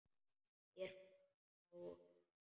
Mér fannst þetta nóg.